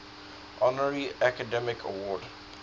honorary academy award